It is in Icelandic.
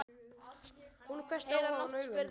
Hún hvessti á hann augun.